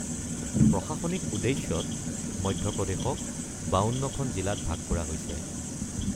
প্ৰশাসনিক উদ্দেশ্যত মধ্যপ্ৰদেশক ৫২খন জিলাত ভাগ কৰা হৈছে।